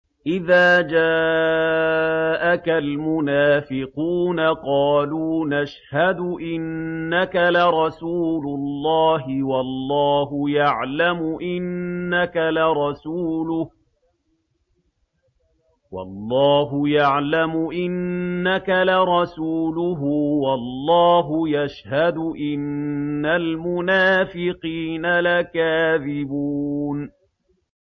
إِذَا جَاءَكَ الْمُنَافِقُونَ قَالُوا نَشْهَدُ إِنَّكَ لَرَسُولُ اللَّهِ ۗ وَاللَّهُ يَعْلَمُ إِنَّكَ لَرَسُولُهُ وَاللَّهُ يَشْهَدُ إِنَّ الْمُنَافِقِينَ لَكَاذِبُونَ